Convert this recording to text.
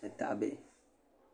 ni tahabihi